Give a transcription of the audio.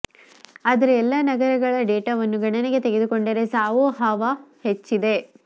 ಆದರೆ ಎಲ್ಲ ನಗರಗಳ ಡೇಟಾವನ್ನು ಗಣನೆಗೆ ತೆಗೆದುಕೊಂಡರೆ ಸಾಹೋ ಹವಾ ಹೆಚ್ಚಿದೆ